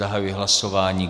Zahajuji hlasování.